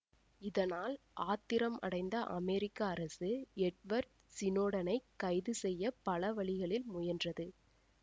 இதனால் ஆத்திரம் அடைந்த அமெரிக்க அரசு எட்வர்ட் சினோடனைக் கைது செய்ய பல வழிகளில் முயன்றது